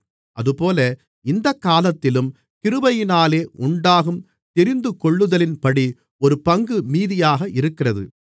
அதுபோல இந்தக்காலத்திலும் கிருபையினாலே உண்டாகும் தெரிந்துகொள்ளுதலின்படி ஒரு பங்கு மீதியாக இருக்கிறது